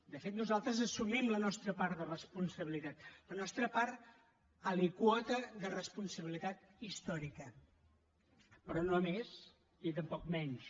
de fet nosaltres assumim la nostra part de responsabilitat la nostra part alíquota de responsabilitat històrica però no més ni tampoc menys